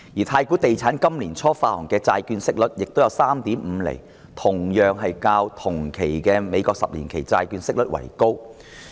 太古地產今年年初發行的債券息率也有 3.5 厘，同樣較同期的美國十年期債券息率為高。